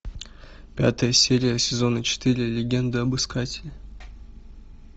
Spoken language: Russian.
пятая серия сезона четыре легенда об искателе